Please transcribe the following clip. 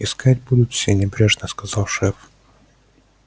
искать будут все небрежно сказал шеф